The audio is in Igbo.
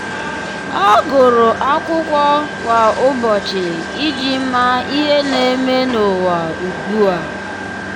ọ́ gụ́rụ́ ákụ́kọ́ kwa ụ́bọ̀chị̀ iji màá ihe nà-ème n’ụ́wà ugbu a.